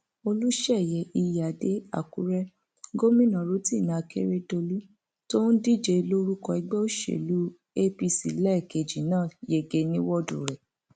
olùsẹyẹ iyíáde àkúrẹ gómìnà rotimi akeredolu tó ń díje lórúkọ ẹgbẹ òsèlú apc lẹẹkejì náà yege ní wọọdù rẹ